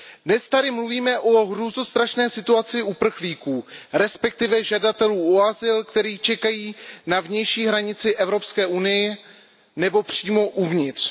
Dnes tady mluvíme o hrůzostrašné situaci uprchlíků, respektive žadatelů o azyl, kteří čekají na vnější hranici Evropské unie nebo přímo uvnitř.